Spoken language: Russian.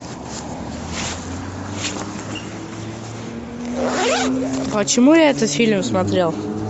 почему я этот фильм смотрел